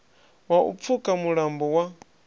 wa u pfuka mulambo wa